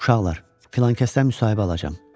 Uşaqlar, filankəsdən müsahibə alacam.